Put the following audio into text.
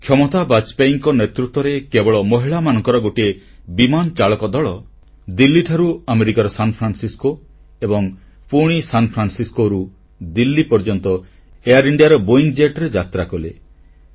କ୍ଷମତା ବାଜପେୟୀଙ୍କ ନେତୃତ୍ୱରେ କେବଳ ମହିଳାମାନଙ୍କର ଗୋଟିଏ ବିମାନ ଚାଳକ ଦଳ ଦିଲ୍ଲୀଠାରୁ ଆମେରିକାର ସାନ୍ଫ୍ରାନ୍ସିସକୋ ଏବଂ ପୁଣି ସାନ୍ ଫ୍ରାନ୍ସିସକୋରୁ ଦିଲ୍ଲୀ ପର୍ଯ୍ୟନ୍ତ ଏଆଇଆର୍ ଇଣ୍ଡିଆ ର ବୋଇଂ ଜେଟ୍ ରେ ଯାତ୍ରାକଲେ